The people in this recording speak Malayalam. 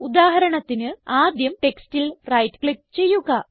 ഉദാഹരണത്തിന് ആദ്യം ടെക്സ്റ്റിൽ റൈറ്റ് ക്ലിക്ക് ചെയ്യുക